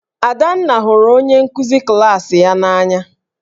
Adanna hụrụ onye nkụzi klaasị ya n'anya